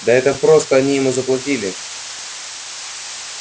да это просто они ему заплатили